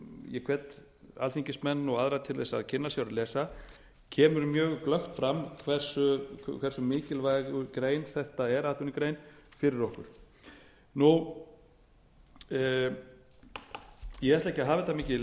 ég hvet alþingismenn og aðra til þess að kynna sér og lesa kemur mjög glöggt fram hversu mikilvæg atvinnugrein þetta er fyrir okkur ég ætla ekki að hafa þetta mikið